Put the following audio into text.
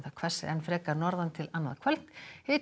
hvessir enn frekar norðan til annað kvöld hiti